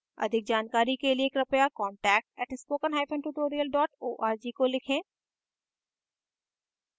अधिक जानकारी कर लिए कृपया contact @spokentutorial org को लिखें